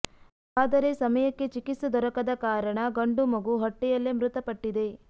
ಆದರೆ ಸಮಯಕ್ಕೆ ಚಿಕಿತ್ಸೆ ದೊರಕದ ಕಾರಣ ಗಂಡು ಮಗು ಹೊಟ್ಟೆಯಲ್ಲೇ ಮೃತಪಟ್ಟಿದೆ